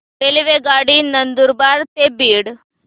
रेल्वेगाडी नंदुरबार ते बीड